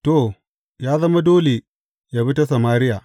To, ya zama dole yă bi ta Samariya.